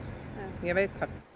ég veit það